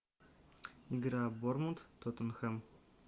игра борнмут тоттенхэм